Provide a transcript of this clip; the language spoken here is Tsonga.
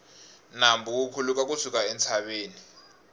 nambu wu khuluka ku suka entshaveni